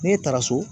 Ne taara so